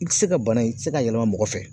I ti se ka bana i ti se ka yɛlɛma mɔgɔ fɛ.